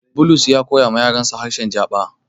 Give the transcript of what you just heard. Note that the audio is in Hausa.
Bulus ya koyawa yarans harshe Jaba.